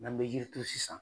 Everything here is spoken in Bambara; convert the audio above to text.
N'an bɛ jirituru sisan